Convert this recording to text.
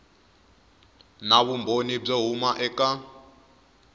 na vumbhoni byo huma eka